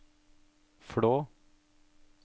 Flå